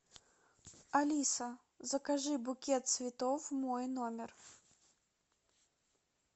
алиса закажи букет цветов в мой номер